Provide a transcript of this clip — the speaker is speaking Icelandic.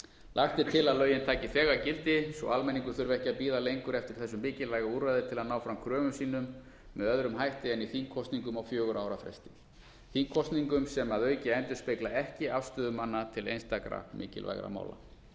lagt er til að lögin taki þegar gildi svo almenningur þurfi ekki að bíða lengur eftir þessu mikilvæga úrræði til að ná fram kröfum sínum með öðrum hætti en í þingkosningum á fjögurra ára fresti þingkosningum sem að auki endurspegla ekki afstöðu manna til einstakra mikilvægra mála